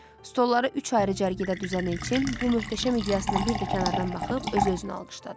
Stolları üç ayrı cərgədə düzən Elçin bu möhtəşəm ideyasını bir də kənardan baxıb öz-özünə alqışladı.